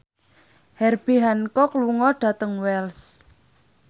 Herbie Hancock lunga dhateng Wells